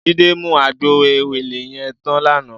Jide mú àgbó éwélé yèn tán làná